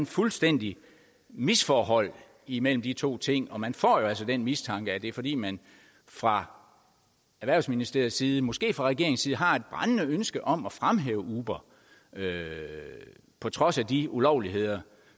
fuldstændig misforhold imellem de to ting og man får jo altså den mistanke at det er fordi man fra erhvervsministeriets side måske fra regeringens side har et brændende ønske om at fremhæve uber på trods af de ulovligheder